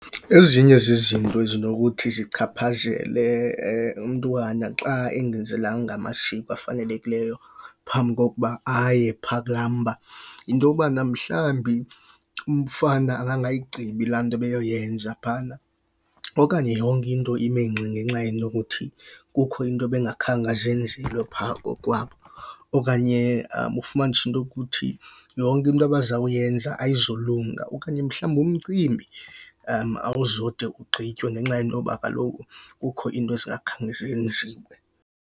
Ezinye zezinto ezinokuthi zichaphazele umntwana xa engenzelwanga amasiko afanelekileyo phambi kokuba aye phaa kulaa mba yinto yobana, mhlawumbi umfana angangayigqibi laa nto ebeyoyenza phaana. Okanye yonke into ime ngxi ngenxa yento yokuthi kukho into ebengakhange azenzelwe phaa kokwabo. Okanye ufumanise into yokuthi yonke into abazawuyenza ayizulunga. Okanye mhlawumbi umcimbi awuzode ugqitywe ngenxa yento yoba kaloku kukho into ezingakhange zenziwe.